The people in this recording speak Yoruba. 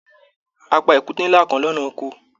A pá èkúté nlá kán lọnà Oko.